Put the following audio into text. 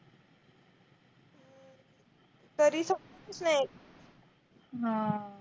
तरी